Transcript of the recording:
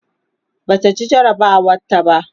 Bata ci jarabawar ta ba